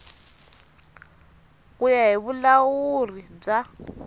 ku ya hi vulahuri bya